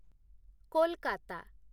Kolkata